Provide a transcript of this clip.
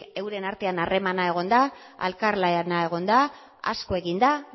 euren artean harremana egon da elkarlana egon da asko egin da